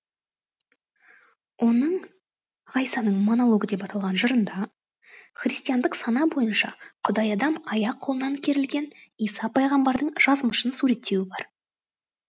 оның ғайсаның монологі деп аталған жырында христиандық сана бойынша құдайадам аяқ қолынан керілген иса пайғамбардың жазмышын суреттеуі бар